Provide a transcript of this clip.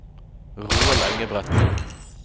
Roald Engebretsen